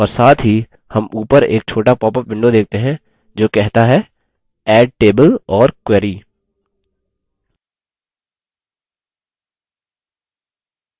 और साथ ही हम उपर एक छोटा पॉपअप window देखते हैं जो कहता है add table or query